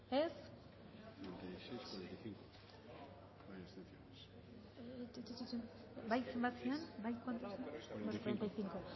dezakegu bozketaren emaitza onako